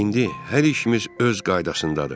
İndi hər işimiz öz qaydasındadır.